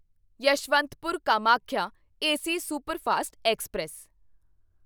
Yeshwantpur Kamakhya AC superfast express